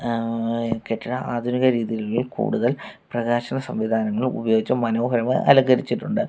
ങ്ഹ് കെട്ടിടം ആധുനിക രീതിയിൽ കൂടുതൽ പ്രകാശന സംവിധാനങ്ങൾ ഉപയോഗിച്ച് മനോഹരമായി അലങ്കരിച്ചിട്ടുണ്ട്.